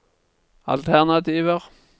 alternativer